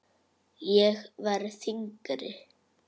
Ég verð þyngri.